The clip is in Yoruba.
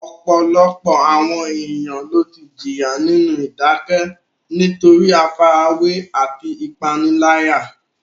Ọ̀pọ̀lọpọ̀ àwọn ènìyàn ló ti jìyà nínú ìdákẹ́ nítorí àfarawé àti ìpániláyà.